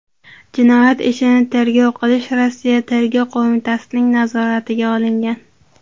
Jinoyat ishini tergov qilish Rossiya Tergov qo‘mitasining nazoratiga olingan.